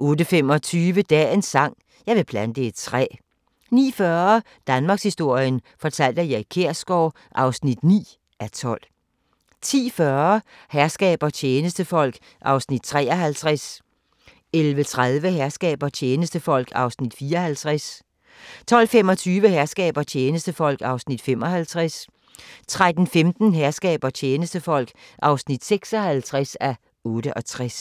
08:25: Dagens sang: Jeg vil plante et træ 09:40: Danmarkshistorien fortalt af Erik Kjersgaard (9:12) 10:40: Herskab og tjenestefolk (53:68) 11:30: Herskab og tjenestefolk (54:68) 12:25: Herskab og tjenestefolk (55:68) 13:15: Herskab og tjenestefolk (56:68)